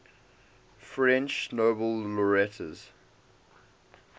french nobel laureates